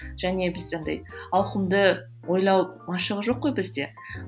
және бізде андай ауқымды ойлау машығы жоқ қой бізде